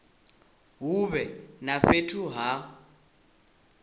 hu vhe na fhethu ha